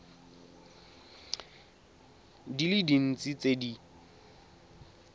di le dintsi tse di